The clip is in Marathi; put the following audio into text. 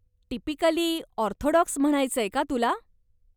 टिपिकली, ऑर्थोडॉक्स म्हणायचंय का तुला?